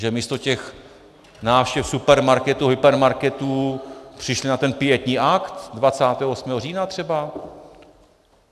Že místo těch návštěv supermarketů, hypermarketů přišli na ten pietní akt 28. října třeba?